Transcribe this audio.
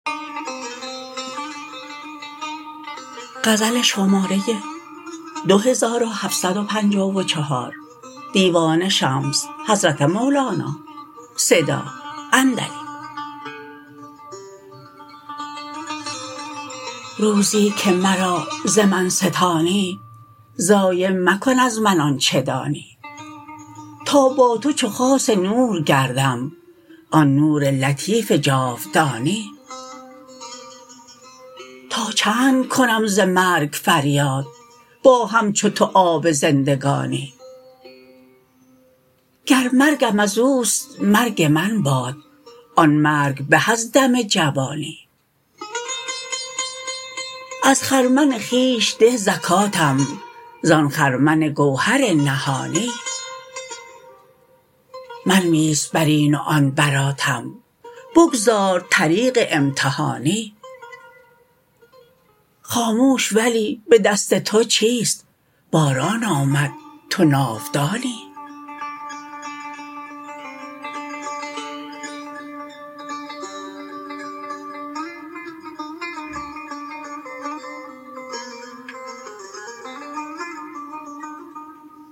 روزی که مرا ز من ستانی ضایع مکن از من آنچ دانی تا با تو چو خاص نور گردم آن نور لطیف جاودانی تا چند کنم ز مرگ فریاد با همچو تو آب زندگانی گر مرگم از او است مرگ من باد آن مرگ به از دم جوانی از خرمن خویش ده زکاتم زان خرمن گوهر نهانی منویس بر این و آن براتم بگذار طریق امتحانی خاموش ولی به دست تو چیست باران آمد تو ناودانی